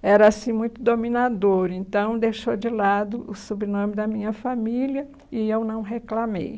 era assim muito dominador, então deixou de lado o sobrenome da minha família e eu não reclamei.